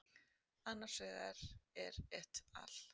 Annar vegar er et al.